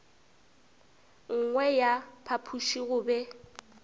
nngwe ya phapoši go be